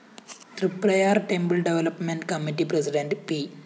Triprayar‍ temple development committee president P